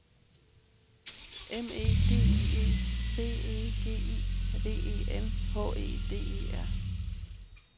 M E D I E B E G I V E N H E D E R